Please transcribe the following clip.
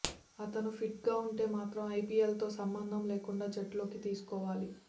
అతను ఫిట్గా ఉంటే మాత్రం ఐపీఎల్తో సంబంధం లేకుండా జట్టులోకి తీసుకోవాలి